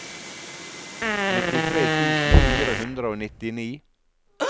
nittitre tusen fire hundre og nittini